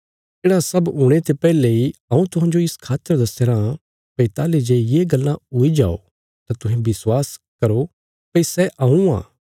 येढ़ा सब हुणे ते पैहले इ हऊँ तुहांजो इस खातर दस्यारां भई ताहली जे ये गल्लां हुई जाओ तां तुहें विश्वास करो भई सै हऊँ आ